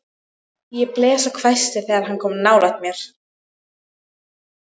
Ég blés og hvæsti þegar hann kom nálægt mér.